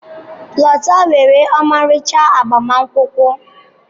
Lota nwere ọmarịcha agbamakwụkwọ.